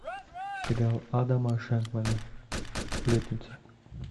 сериал адама шенкмана сплетница